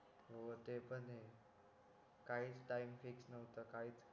हो ते पण आहे काहीच टाईम फिक्स नव्हता काहीच